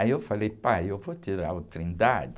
Aí eu falei, pai, eu vou tirar o